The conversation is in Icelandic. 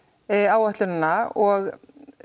áætlunina og